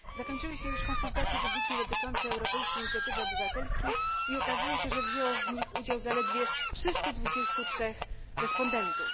Zakończyły się już konsultacje publiczne dotyczące europejskiej inicjatywy obywatelskiej i okazuje się, że wzięło w nich udział zaledwie 323 respondentów.